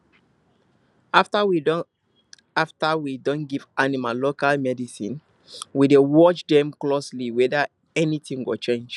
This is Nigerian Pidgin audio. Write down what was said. after we don after we don give animal local medicine we dey watch dem closely whether anything go change